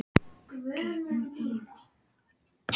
Gangi þér allt í haginn, Eldbjörg.